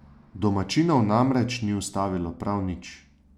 Domačinov namreč ni ustavilo prav nič.